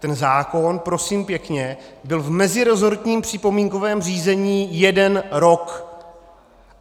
Ten zákon, prosím pěkně, byl v meziresortním připomínkovém řízení jeden rok.